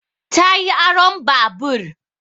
Ta yi aron babur